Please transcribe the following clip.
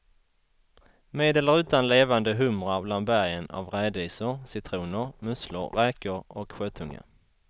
Med eller utan levande humrar bland bergen av rädisor, citroner, musslor, räkor och sjötunga.